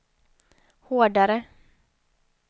hårdare